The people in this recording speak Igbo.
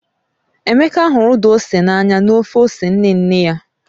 Emeka hụrụ Uda ose n'anya na ofe ose nne nne ya.